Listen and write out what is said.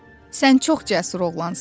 Sən çox cəsur oğlansan,